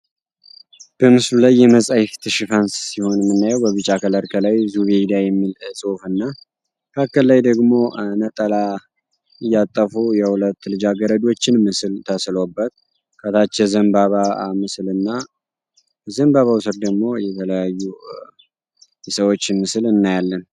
በምስሉ ላይ በመጽሐፍት ሽፋን ሲሆን የምናየው በቢጫ ከለር ከላይ ዙበይዳ የሚል መካከል ላይ ደግሞ እያጠፉ የሁለት ልጃገረዶች ምስል ተስሎ የሚታይበት ከታች የዘንባባ ምስል እና ከዘንባባው ሥር ደግሞ ሌሎች የተለያዩ ነገሮችን እናያለን።